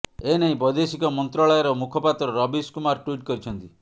ଏନେଇ ବୈଦେଶିକ ମନ୍ତ୍ରଣାଳୟର ମୁଖପାତ୍ର ରବିଶ୍ କୁମାର ଟ୍ୱିଟ୍ କରିଛନ୍ତି